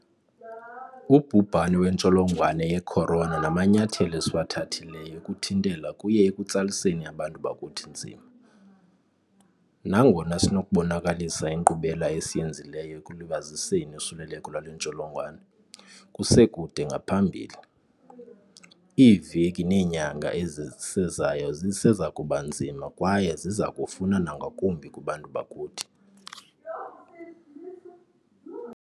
Ubhubhane wentsholongwane ye-corona namanyathelo esiwathathileyo ukuthintela kuye ekutsaliseni abantu bakuthi nzima. Nangona sinokubonakalisa inkqubela esiyenzileyo ekulibaziseni usuleleko lwale ntsholongwane, kuse kude ngaphambili. Iiveki neenyanga ezisezayo zisezakuba nzima kwaye zizakufuna nangakumbi kubantu bakuthi.